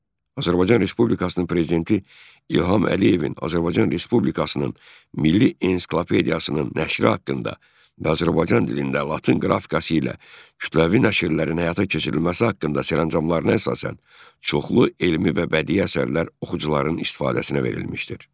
Azərbaycan Respublikasının prezidenti İlham Əliyevin Azərbaycan Respublikasının milli ensiklopediyasının nəşri haqqında və Azərbaycan dilində latın qrafikası ilə kütləvi nəşrlərin həyata keçirilməsi haqqında sərəncamlarına əsasən çoxlu elmi və bədii əsərlər oxucuların istifadəsinə verilmişdir.